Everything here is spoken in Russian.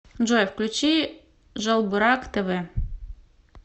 джой включи жалбырак тэ вэ